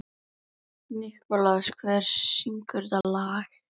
Nikulás, hver syngur þetta lag?